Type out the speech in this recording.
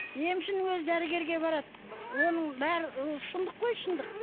емшінің өзі дәрігерге барады оның бәрі ол шындық қой шындық